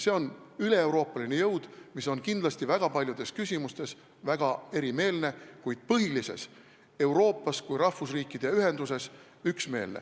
See on üleeuroopaline jõud, mis on väga paljudes küsimustes kindlasti väga erimeelne, kuid üksmeelne põhilises, Euroopas kui rahvusriikide ühenduses.